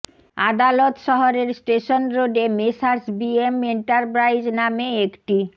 আদালত শহরের স্টেশন রোডে মেসার্স বিএম এন্টারপ্রাইজ নামে একটি